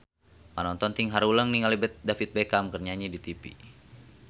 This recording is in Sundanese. Panonton ting haruleng ningali David Beckham keur nyanyi di tipi